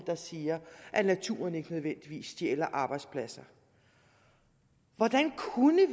der siger at naturen ikke nødvendigvis stjæler arbejdspladser og hvordan